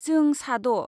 जों सा द'।